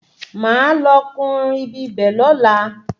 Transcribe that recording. Máa lọ kùn-ún ibibẹ̀ lọ́la